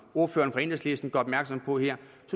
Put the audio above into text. ordføreren for enhedslisten gør opmærksom på her